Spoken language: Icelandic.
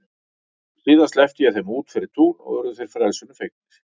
Síðan sleppti ég þeim út fyrir tún og urðu þeir frelsinu fegnir.